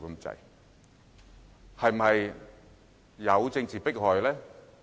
至於有否政治迫害？